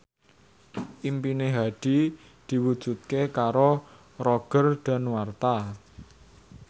impine Hadi diwujudke karo Roger Danuarta